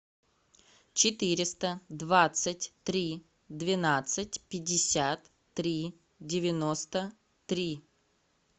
четыреста двадцать три двенадцать пятьдесят три девяносто три